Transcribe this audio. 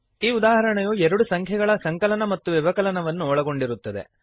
ಈ ಉದಾಹರಣೆಯು ಎರಡು ಸಂಖ್ಯೆಗಳ ಸಂಕಲನ ಮತ್ತು ವ್ಯವಕಲನವನ್ನು ಒಳಗೊಂಡಿರುತ್ತದೆ